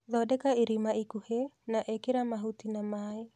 Thondeka irima ikũhe na ĩkĩra mahũti na maĩ.